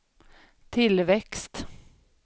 tillväxt